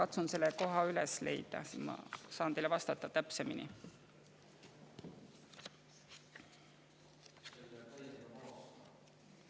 Ma katsun selle koha üles leida, siis ma saan teile täpsemini vastata.